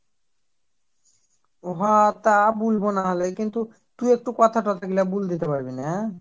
ও হ্যাঁ তা বুলবো না হলে কিন্তু তু একটু কথা তথা গুলো বলদিতে পারবি না